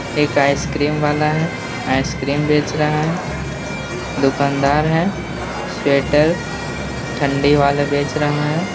एक आइसक्रीम वाला है। आइसक्रीम बेच रहा है। दुकानदार है। ठंडी वाला बेच रहा है।